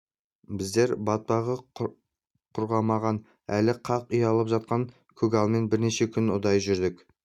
біздер батпағы құрғамаған әлі қақ ұялап жатқан көгалмен бірнеше күн ұдайы жүрдік